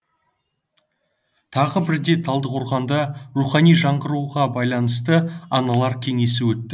тағы бірде талдықорғанда рухани жаңғыруға байланысты аналар кеңесі өтті